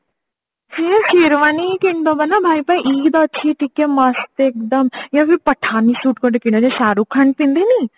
ସେଇ Sherwani କିଣି ଦବା ନା ଭାଇ ପାଇଁ ଇଦ ଅଛି ଟିକେ ମସ୍ତ ଏକଦମ ୟା ଫିର ପଠାନି suite ଗୋଟେ କିଣିବା ଯୋଉ ଶାହରୁଖ ଖାନ ପିନ୍ଧିନି